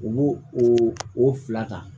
U b'o o fila ta